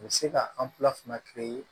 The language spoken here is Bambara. U bɛ se ka an fila fana